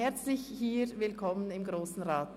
Herzlich willkommen im Grossen Rat.